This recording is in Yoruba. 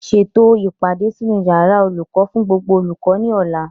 Ṣètò o ìpàdé sínú yàrá olùkọ́ fún gbogbo olùkọ́ ní ọ̀la